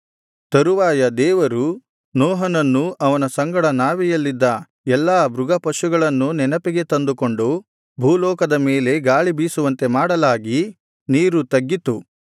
ತರುವಾಯ ದೇವರು ನೋಹನನ್ನೂ ಅವನ ಸಂಗಡ ನಾವೆಯಲ್ಲಿದ್ದ ಎಲ್ಲಾ ಮೃಗಪಶುಗಳನ್ನೂ ನೆನಪಿಗೆ ತಂದುಕೊಂಡು ಭೂಲೋಕದ ಮೇಲೆ ಗಾಳಿ ಬೀಸುವಂತೆ ಮಾಡಲಾಗಿ ನೀರು ತಗ್ಗಿತು